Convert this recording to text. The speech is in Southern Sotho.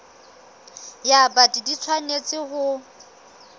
ya bt di tshwanetse ho